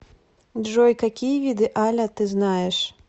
джой какие виды аля ты знаешь